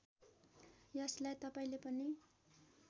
यसलाई तपाईँले पनि